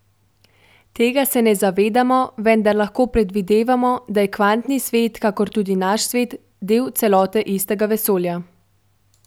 Tega se ne zavedamo, vendar lahko predvidevamo, da je kvantni svet, kakor tudi naš svet, del celote istega vesolja.